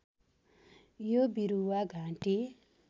यो बिरुवा घाँटी